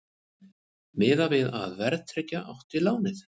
Miðað við að verðtryggja átti lánið